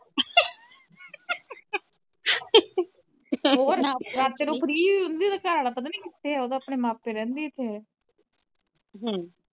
ਰਾਤਾ ਨੂੰ free ਹੁੰਦੀ ਓਦਾਂ ਘਰਵਾਲਾ ਪਤਾ ਨਹੀਂ ਕਿੱਥੇ ਆ ਉਹ ਤਾ ਆਪਣੇ ਮਾਂ ਪਿਓ ਦੇ ਰਹਿੰਦੀ ਇੱਥੇ